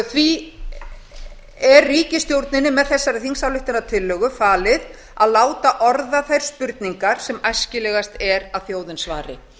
því er ríkisstjórninni með þessari þingsályktunartillögu falið að láta orða þær spurningar sem æskilegast er að þjóðin svari